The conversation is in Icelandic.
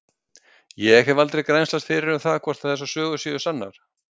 Ég hef aldrei grennslast fyrir um það hvort þessar sögur séu sannar.